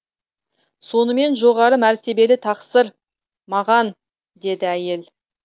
сонымен жоғары мәртебелі тақсыр маған деді әйел